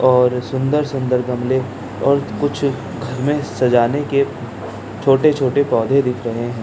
और सुंदर-सुंदर गमले और कुछ घर में सजाने के छोटे-छोटे पौधे दिख रहे हैं।